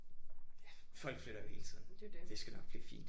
Ja folk flytter jo hele tiden. Det skal nok blive fint